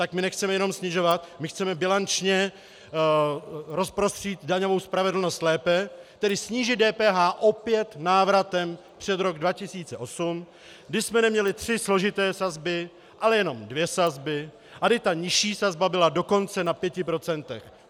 Tak my nechceme jenom snižovat, my chceme bilančně rozprostřít daňovou spravedlnost lépe, tedy snížit DPH opět návratem před rok 2008, kdy jsme neměli tři složité sazby, ale jenom dvě sazby, a kdy ta nižší sazba byla dokonce na pěti procentech.